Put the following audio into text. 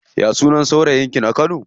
Ya sunan saurayin ki na kano?